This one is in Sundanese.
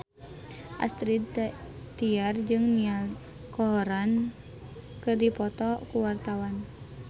Astrid Tiar jeung Niall Horran keur dipoto ku wartawan